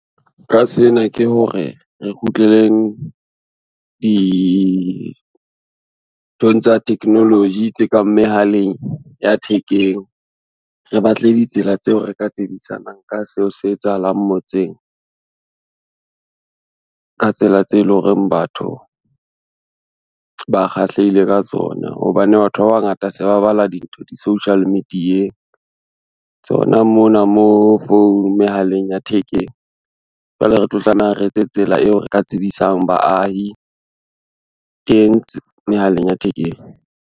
Ka sena ke hore, re kgutleleng dinthong tsa technology, tse kang mehaleng ya thekeng, re batle ditsela tseo re ka tsebisanang ka seo se etsahalang motseng. Ka tsela tse e lo reng batho, ba kgahlehile ka tsona hobane batho ba bangata se ba bala dintho di-social media-eng, tsona mona mehaleng ya thekeng, jwale re tlo tlameha re etse tsela eo re ka tsebisang baahi teng mehaleng ya thekeng.